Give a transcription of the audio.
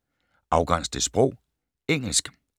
Afgræns til sprog: engelsk